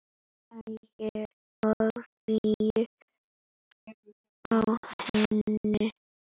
Ægi og Fíu á hina.